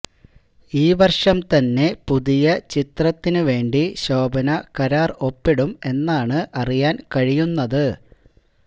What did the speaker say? ഈ വര്ഷം തന്നെ പുതിയ ചിത്രത്തിന് വേണ്ടി ശോഭന കരാര് ഒപ്പിടും എന്നാണ് അറിയാന് കഴിയുന്നത്